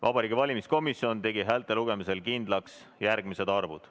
Vabariigi Valimiskomisjon tegi häälte lugemisel kindlaks järgmised arvud.